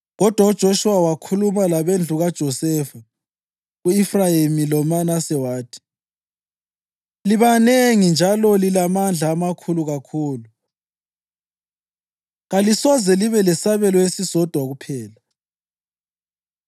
Kodwa uJoshuwa wakhuluma labendlu kaJosefa, ku-Efrayimi loManase wathi, “Libanengi njalo lilamandla amakhulu kakhulu. Kalisoze libe lesabelo esisodwa kuphela,